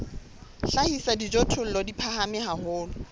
hlahisa dijothollo di phahame haholo